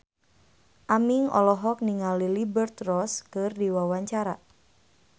Aming olohok ningali Liberty Ross keur diwawancara